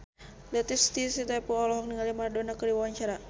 Latief Sitepu olohok ningali Maradona keur diwawancara